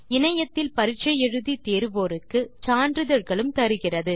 இணையத்தில் பரிட்சை எழுதி தேர்வோருக்கு சான்றிதழ்களும் தருகிறது